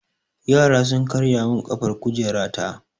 Yara sun karya min ƙafar kujera ta.